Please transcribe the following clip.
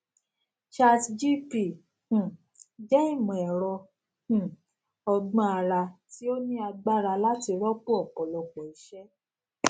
chatgpt um jẹ ìmọ ẹrọ um ọgbọn àrà tí ó ní agbára láti rọpò ọpọlọpọ iṣẹ